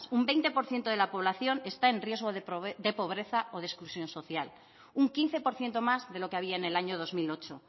un veinte por ciento de la población está en riesgo de pobreza o de exclusión social un quince por ciento más de lo que había en el año dos mil ocho